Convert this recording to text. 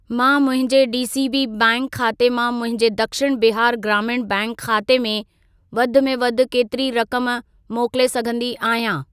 मां मुंहिंजे DCB bank खाते मां मुंहिंजे दक्षिण बिहार ग्रामीण बैंक खाते में वधि में वधि केतिरी रक़म मोकिले सघंदी आहियां?